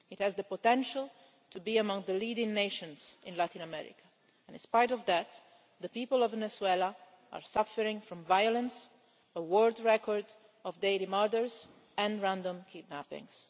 It has the potential to be among the leading nations in Latin America and in spite of that, the people of Venezuela are suffering from violence, a world record in daily murders and random kidnappings.